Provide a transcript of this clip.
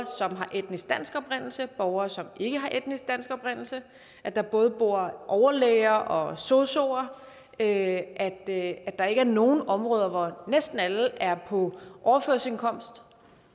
som har etnisk dansk oprindelse borgere som ikke har etnisk dansk oprindelse at der både bor overlæger og sosuer at der ikke er nogen områder hvor næsten alle er på overførselsindkomst